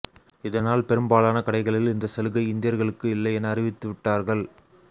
இதனால் பெரும்பாலான கடைகளில் இந்தச்சலுகை இந்தியர்களுக்கு இல்லை என அறிவித்து விட்டார்கள்